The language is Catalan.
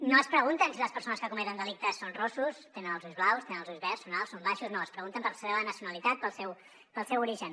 no es pregunten si les persones que cometen delictes són rossos tenen els ulls blaus tenen els ulls verds són alts són baixos no es pregunten per la seva nacionalitat pel seu origen